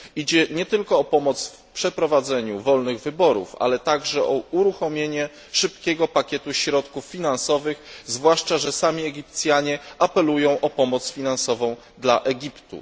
Idzie nie tylko o pomoc w przeprowadzeniu wolnych wyborów, ale także o uruchomienie szybkiego pakietu środków finansowych, zwłaszcza że sami Egipcjanie apelują o pomoc finansową dla Egiptu.